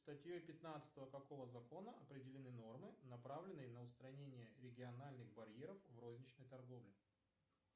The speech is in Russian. статьей пятнадцатого какого закона определены нормы направленные на устранение региональных барьеров в розничной торговле